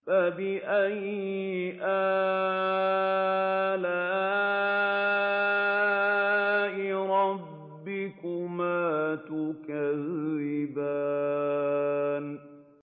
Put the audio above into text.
فَبِأَيِّ آلَاءِ رَبِّكُمَا تُكَذِّبَانِ